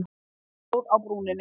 Hann stoppaði á brúninni.